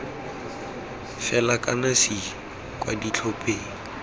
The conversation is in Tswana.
fela kana c kwa ditlhopheng